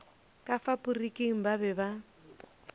ka faporiking ba be ba